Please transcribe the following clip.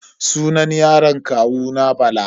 Sunan yaron kawuna Bala.